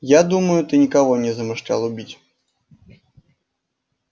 я думаю ты никого не замышлял убить